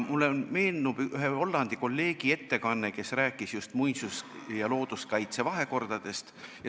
Mulle meenub ühe Hollandi kolleegi ettekanne, kes rääkis just muinsus- ja looduskaitse vahekorrast.